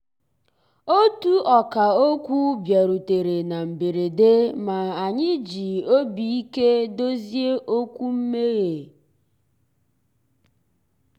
ótú ọ̀kà òkwú bìàrùtérè ná mbérèdé mà ànyị́ jì òbí íké dòzié òkwú mméghé.